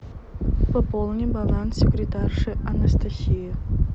пополни баланс секретарши анастасии